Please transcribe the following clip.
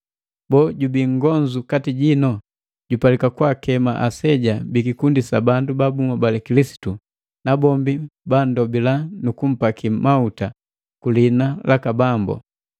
Boo, jubii nngonzu kati jino? Jupalika kwaakema aseja bikikundi sa bandu ba bunhobali Kilisitu, nabombi bandobila nu kumpakii mahuta ku liina laka Bambu.